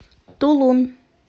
тулун